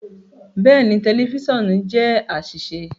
Bẹẹni, tẹlifisiọnu jẹ aṣiṣe